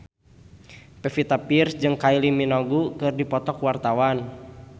Pevita Pearce jeung Kylie Minogue keur dipoto ku wartawan